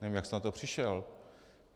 Nevím, jak jste na to přišel.